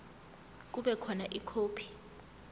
kube khona ikhophi